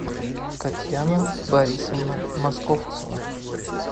татьяна борисовна московцева